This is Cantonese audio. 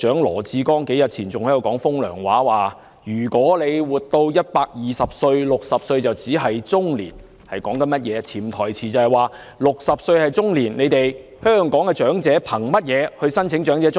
羅致光局長數天前還在說"風涼話"，指如果活到120歲 ，60 歲只是中年，潛台詞即是 ："60 歲是中年，香港的長者憑甚麼申請長者綜援？